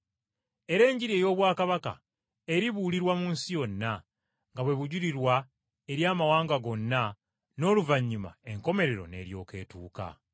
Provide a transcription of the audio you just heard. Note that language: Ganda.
Era Enjiri ey’obwakabaka eribuulirwa mu nsi yonna, nga bwe bujulirwa eri amawanga gonna n’oluvannyuma enkomerero n’eryoka etuuka.”